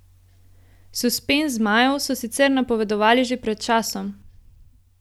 Suspenz zmajev so sicer napovedovali že pred časom.